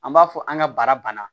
An b'a fɔ an ka bara banna